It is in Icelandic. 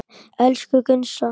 Elsku Gunnsa.